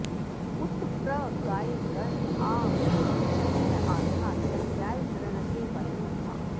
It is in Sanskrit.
उ॒त प्र गा॑य ग॒ण आ नि॒षद्याथा॑ य॒ज्ञाय॑ गृण॒ते वयो॑ धाः